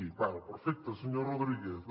d’acord perfecte senyor rodríguez